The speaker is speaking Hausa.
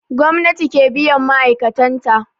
Gwamnati ke biyan ma'aikatan ta